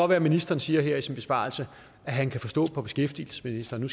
være ministeren siger her i sin besvarelse at han kan forstå på beskæftigelsesministeren at